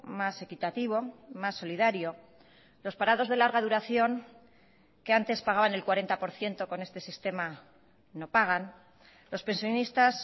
más equitativo más solidario los parados de larga duración que antes pagaban el cuarenta por ciento con este sistema no pagan los pensionistas